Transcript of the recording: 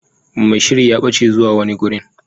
Mai sihiri ya bace zuwa wani gurin.